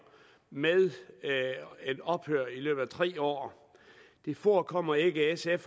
med et ophør i løbet af tre år forekommer ikke sf